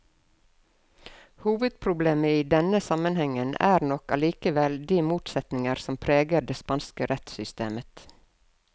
Hovedproblemet i denne sammenhengen er nok allikevel de motsetninger som preger det spanske rettssystemet.